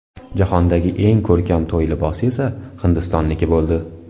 Jahondagi eng ko‘rkam to‘y libosi esa Hindistonniki bo‘ldi.